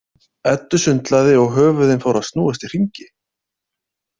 Eddu sundlaði og höfuðin fóru að snúast í hringi.